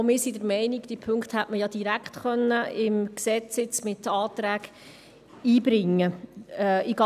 Auch wir sind der Meinung, diese Punkte hätte man beim Gesetz ja direkt mit Anträgen einbringen können.